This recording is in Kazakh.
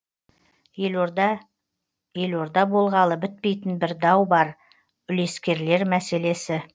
елорда елорда болғалы бітпейтін бір дау бар үлескерлер мәселесі